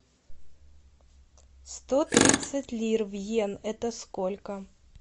сто тридцать лир в йен это сколько